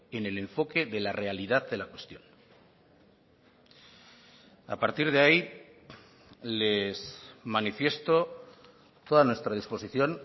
en el enfoque de la realidad de la cuestión a partir de ahí les manifiesto toda nuestra disposición